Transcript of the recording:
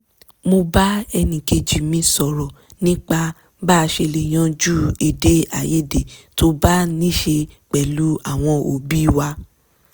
mo bá ẹnìkejì mi sọ̀rọ̀ nípa bá a ṣe lè yanjú èdè àìyédè tó bá níṣe pẹ̀lú àwọn òbí wa